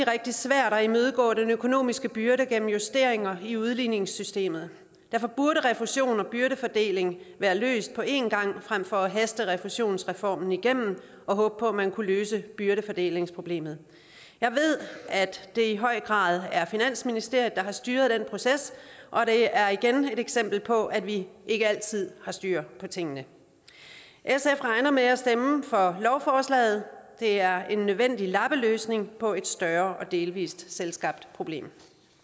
rigtig svært at imødegå den økonomiske byrde gennem justeringer i udligningssystemet og derfor burde refusion og byrdefordeling være løst på en gang frem for at haste refusionsreformen igennem og håbe på at man kunne løse byrdefordelingsproblemet jeg ved at det i høj grad er finansministeriet der har styret den proces og det er igen et eksempel på at vi ikke altid har styr på tingene sf regner med at stemme for lovforslaget det er en nødvendig lappeløsning på et større og delvis selvskabt problem